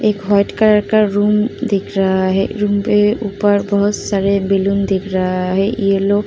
एक white colour का room दिख रहा है। रूम के ऊपर बोहोत सारे बैलून दिख रहा है। येलो --